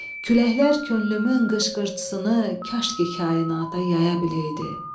Küləklər könlümün qışqırtısını kaş ki kainata yaya biləydi.